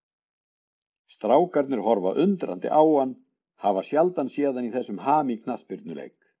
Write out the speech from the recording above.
Strákarnir horfa undrandi á hann, hafa sjaldan séð hann í þessum ham í knattspyrnuleik.